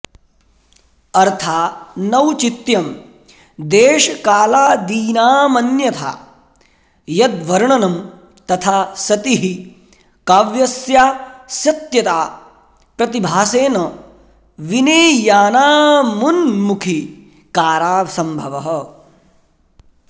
अर्थानौचित्यं देशकालादीनामन्यथा यद्वर्णनं तथा सति हि काव्यस्यासत्यता प्रतिभासेन विनेयानामुन्मुखीकारा सम्भवः